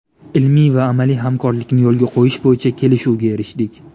Ilmiy va amaliy hamkorlikni yo‘lga qo‘yish bo‘yicha kelishuvga erishdik.